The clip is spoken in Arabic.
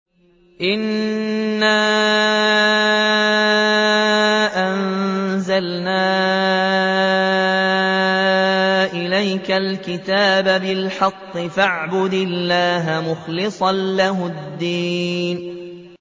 إِنَّا أَنزَلْنَا إِلَيْكَ الْكِتَابَ بِالْحَقِّ فَاعْبُدِ اللَّهَ مُخْلِصًا لَّهُ الدِّينَ